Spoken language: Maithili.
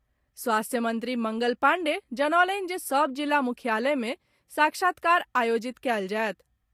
स्वास्थ्य मंत्री मंगल पांडेय जनौलनि जे सभ जिला मुख्यालय मे साक्षात्कार आयोजित कयल जायत।